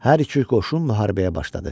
Hər iki qoşun müharibəyə başladı.